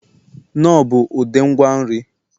knorr bụ ụdị ngwa nri